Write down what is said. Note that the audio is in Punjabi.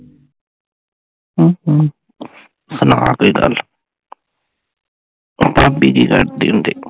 ਅਮ ਅਮ ਸੁਣਾ ਕੋਈ ਗੱਲ ਭਾਬੀ ਜੀ ਲੜਦੇ ਹੁੰਦੇ